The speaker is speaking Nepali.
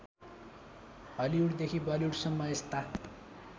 हलिउडदेखि बलिउडसम्म यस्ता